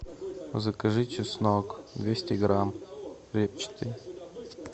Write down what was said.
закажи чеснок двести грамм репчатый